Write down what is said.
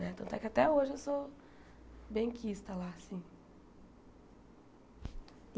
Né tanto é que até hoje eu sou benquista lá, assim.